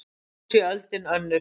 Nú sé öldin önnur.